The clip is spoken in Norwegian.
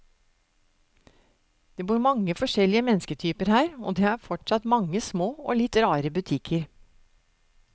Det bor mange forskjellige mennesketyper her, og det er fortsatt mange små og litt rare butikker.